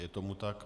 Je tomu tak.